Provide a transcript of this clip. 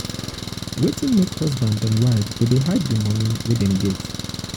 wetin make husband and wife go dey hide di moni wey dem get?